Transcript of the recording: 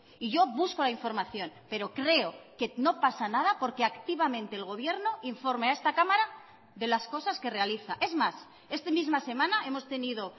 y yo busco la información pero creo que no pasa nada porque activamente el gobierno informe a esta cámara de las cosas que realiza es más esta misma semana hemos tenido